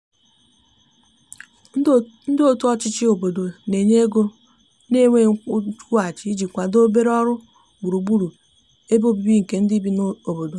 ndi otu ochichi obodo n'enye ego na nweghi nkwuhachi iji kwado obere ọrụ gburugburu ebe ọbìbi nke ndi bi n'obodo